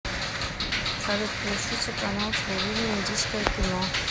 салют включите канал телевидения индийское кино